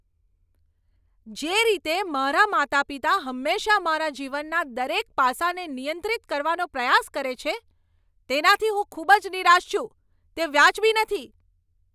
જે રીતે મારાં માતા પિતા હંમેશાં મારા જીવનના દરેક પાસાને નિયંત્રિત કરવાનો પ્રયાસ કરે છે, તેનાથી હું ખૂબ જ નિરાશ છું. તે વાજબી નથી.